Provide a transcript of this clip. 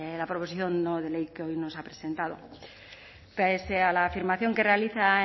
la proposición no de ley que hoy nos ha presentado pese a la afirmación que realiza